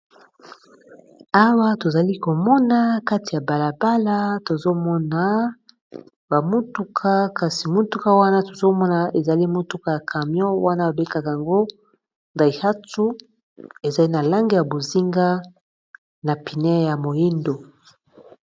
Awa tozali komona kati ya balabala tozomona, bamutuka kasi motuka wana tozomona ezali motuka ya camion wana babekaka yango daihatu ezali na lange ya bozinga, na pine ya moindo